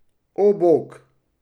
O, bog!